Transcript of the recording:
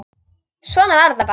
Svona var þetta bara.